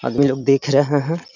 आदमी लोग देख रहे हैं।